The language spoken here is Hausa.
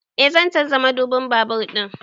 Eh zan canza madubin babur ɗina